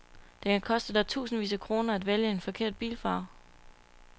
Det kan koste dig tusindvis af kroner at vælge en forkert bilfarve.